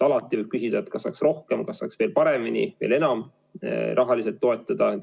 Alati võib küsida, kas saaks rohkem, kas saaks veel paremini, veel enam rahaliselt toetada.